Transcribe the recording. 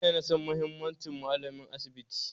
Jiya na san muhimmancin malamin asibi